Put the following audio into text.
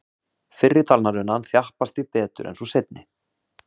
Fyrri talnarunan þjappast því betur en sú seinni.